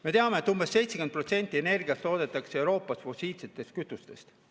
Me teame, et umbes 70% energiast toodetakse Euroopas fossiilsetest kütustest.